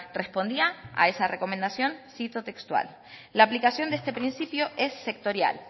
respondía a esa recomendación cito textual la aplicación de este principio es sectorial